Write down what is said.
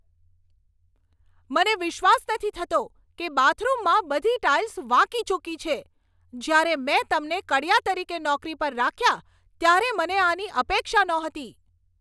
મને વિશ્વાસ નથી થતો કે બાથરૂમમાં બધી ટાઈલ્સ વાંકીચૂંકી છે! જ્યારે મેં તમને કડિયા તરીકે નોકરી પર રાખ્યા ત્યારે મને આની અપેક્ષા નહોતી.